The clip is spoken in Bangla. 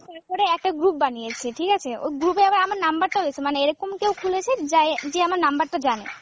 তারপরে একটা group বানিয়েছে ঠিক আছে, ওই group এ আবার আমার number টাও মানে এরকম কেও খুলেছে যাই যে আমার number টা জানে